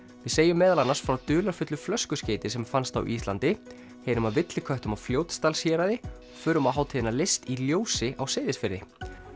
við segjum meðal annars frá dularfullu flöskuskeyti sem fannst á Íslandi heyrum af villiköttum á Fljótsdalshéraði förum á hátíðina list í ljósi á Seyðisfirði